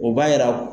O b'a jira